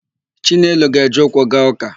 Chinelo ga-eje ụkwụ gaa ụ́kà.